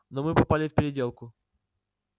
но мы попали в переделку